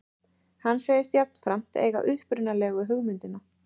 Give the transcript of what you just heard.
Hann segist jafnframt eiga upprunalegu hugmyndina